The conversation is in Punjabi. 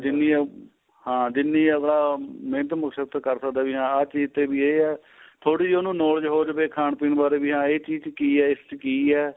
ਜਿੰਨੀ ਏ ਹਾਂ ਜਿੰਨੀ ਆਪਾਂ ਮਹਿਨਤ ਮੁਸ਼ਕਤ ਕਰ ਸਕਦਾ ਵੀ ਹਾਂ ਚੀਜ ਤੇ ਵੀ ਇਹ ਏ ਥੋੜੀ ਜੀ ਉਨੂੰ knowledge ਹੋ ਜਵੇ ਖਾਣ ਪੀਣ ਬਾਰੇ ਵੀ ਹਾਂ ਇਹ ਚੀਜ ਕੀ ਏ ਇਸ ਚ ਕੀ ਏ